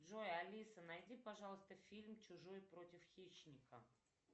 джой алиса найди пожалуйста фильм чужой против хищника